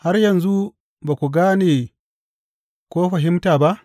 Har yanzu ba ku gane ko fahimta ba?